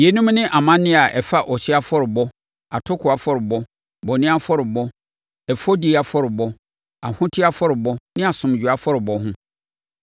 Yeinom ne amanneɛ a ɛfa ɔhyeɛ afɔrebɔ, atokoɔ afɔrebɔ, bɔne afɔrebɔ, ɛfɔdie afɔrebɔ, ahoteɛ afɔrebɔ ne asomdwoeɛ afɔrebɔ ho.